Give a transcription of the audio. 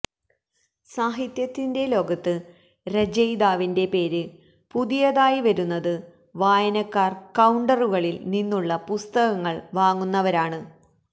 സാഹിത്യത്തിന്റെ ലോകത്ത് രചയിതാവിന്റെ പേര് പുതിയതായി വരുന്നത് വായനക്കാർ കൌണ്ടറുകളിൽ നിന്നുള്ള പുസ്തകങ്ങൾ വാങ്ങുന്നവരാണ്